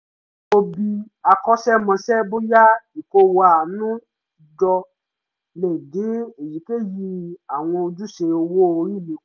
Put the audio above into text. mo bi akọ́ṣẹ́mọṣẹ́ bóyá ìkówa àánú jọ le dín èyikéyìí àwọn ojúṣe owó orí mi